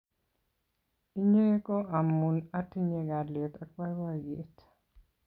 inye ko amun atinye kalyet ak baibaiet